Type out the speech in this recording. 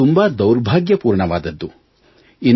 ಇದು ತುಂಬಾ ದೌರ್ಭಾಗ್ಯಪೂರ್ಣವಾದುದು